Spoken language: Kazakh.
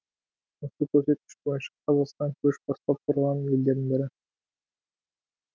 осы көрсеткіш бойынша қазақстан көш бастап тұрған елдердің бірі